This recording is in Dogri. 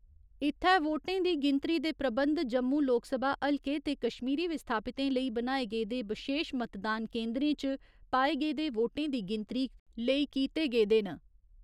इत्थै वोटें दी गिनतरी दे प्रबंध जम्मू लोकसभा हलके ते कश्मीरी विस्थापितें लेई बनाए गेदे बशेश मतदान केन्दरें च पाए गेदे वोटें दी गिनतरी लेई कीते गेदे न।